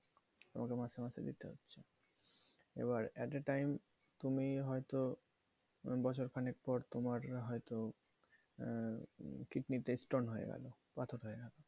তোমাকে মাসে মাসে দিতে হচ্ছে। এবার at a time তুমি হয়তো বছর খানেক পর তোমার হয়তো এর কিডনিতে stone হয়ে গেল, পাথর হয়ে গেলো